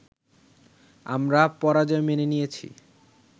আমরা পরাজয় মেনে নিয়েছি